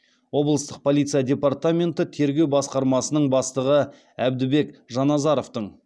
облыстық полиция департаменті тергеу басқармасының бастығы әбдібек жаназаровтың